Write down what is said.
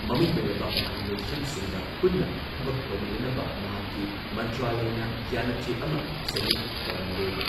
ꯃꯃꯤꯡ ꯂꯩꯔꯕ ꯃꯍꯩ ꯂꯣꯏꯁꯪꯁꯤꯡꯒ ꯄꯨꯟꯅ ꯊꯕꯛ ꯇꯧꯃꯤꯟꯅꯅꯕ ꯃꯍꯥꯛꯀꯤ ꯃꯟꯇ꯭ꯔꯥꯂꯢꯅ ꯌꯥꯟꯅꯆꯦ ꯑꯃ ꯁꯍꯤ ꯇꯧꯅꯔꯦ ꯫